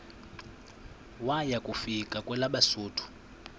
waya kufika kwelabesuthu